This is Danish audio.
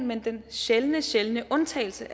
men den sjældne sjældne undtagelse